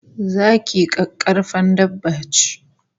Zaki kakkarfan dabba ce